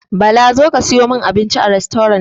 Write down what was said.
Bala zo ka saya min abinci a rastorant!